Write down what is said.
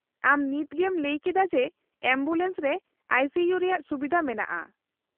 -ᱟᱢ ᱱᱤᱛᱜᱮᱢ ᱞᱟᱹᱭ ᱠᱮᱫᱟ ᱡᱮ ᱮᱢᱵᱩᱞᱮᱱᱥ ᱨᱮ ᱟᱭᱹ ᱥᱤᱹ ᱤᱭᱩ ᱨᱮᱭᱟᱜ ᱥᱩᱵᱤᱫᱷᱟ ᱢᱮᱱᱟᱜᱼᱟ ᱾